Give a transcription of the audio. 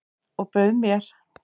Og bauð mér.